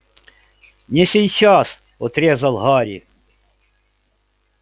не сейчас отрезал гарри